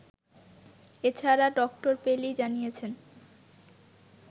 এছাড়া ডক্টর পেলি জানিয়েছেন